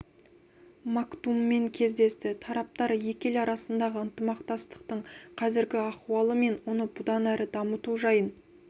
мактуммен кездесті тараптар екі ел арасындағы ынтымақтастықтың қазіргі ахуалы мен оны бұдан әрі дамыту жайын